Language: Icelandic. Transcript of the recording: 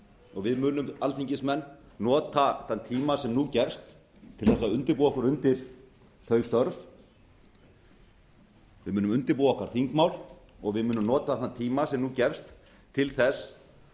og við munum alþingismenn nota þann tíma sem nú gefst til þess að undirbúa okkur undir þau störf við munum undirbúa okkar þingmál og við munum nota þann tíma sem nú gefst til þess